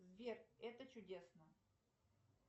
сбер это чудесно